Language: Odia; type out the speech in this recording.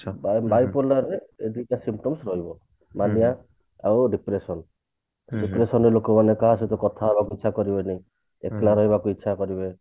bi bipolar ରେ ଦିଟା symptoms ରହିବ ମାନିଆ ଆଉ depression depression ରେ ଲୋକମାନେ କାହା ସହିତ କଥା ହେବା କୁ ଇଛା କରିବେନି ଏକଲା ରହିବାକୁ ଇଛା କରିବେ